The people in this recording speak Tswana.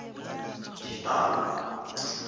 ditau